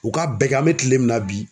U ka bɛɛ kɛ an bɛ kile min na bi.